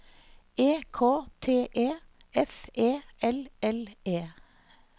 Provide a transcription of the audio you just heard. E K T E F E L L E